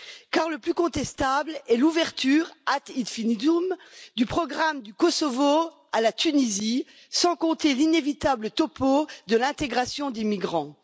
Car le plus contestable est l'ouverture à l'infini du programme du Kosovo à la Tunisie, sans compter l'inévitable topo de l'intégration des migrants.